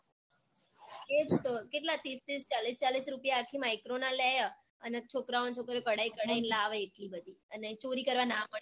એ જ તો કેટલાં તીસ તીસ ચાલીસ રુપયા આખી micro ના લે હ અને છોકરાં અને છોકરીઓ કઢાઈ કઢાઈ ને લાવે હે એટલી બધી અને ચોરી કરવા ના મળી તો